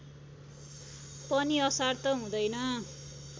पनि असार त हुँदैन